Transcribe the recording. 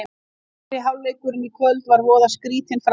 Fyrri hálfleikurinn í kvöld var voða skrýtinn framan af.